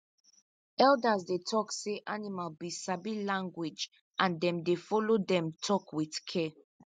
elders dey tok say animals be sabi language and them dey follow them talk with care